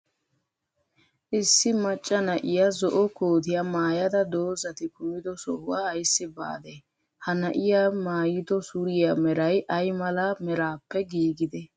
Issi maccaa na'iya zo'o koottiyaa maayada doozati kumiddo sohuwa aysi baadde? He na'iya maayido surriyaa meraay ay malaa meraappe gigiide?